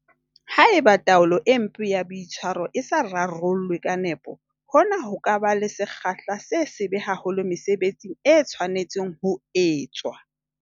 Haeba taolo e mpe ya boitshwaro e sa rarollwe ka nepo, hona ho ka ba le sekgahla se sebe haholo mesebetsing e tshwanetseng ho etswa.